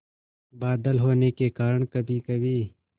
बादल होने के कारण कभीकभी